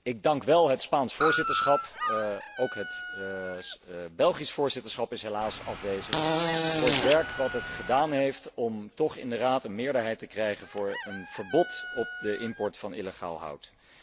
Ik dank wel het Spaans voorzitterschap, ook het Belgisch voorzitterschap is helaas afwezig, voor het werk dat het gedaan heeft om toch in de Raad een meerderheid te krijgen voor een verbod op de import van illegaal hout.